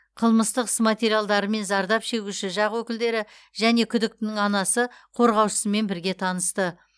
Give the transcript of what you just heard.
қылмыстық іс материалдарымен зардап шегуші жақ өкілдері және күдіктінің анасы қорғаушысымен бірге танысты